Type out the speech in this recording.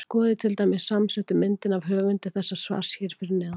Skoðið til dæmis samsettu myndina af höfundi þessa svars hér fyrir neðan.